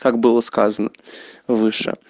как было сказано выше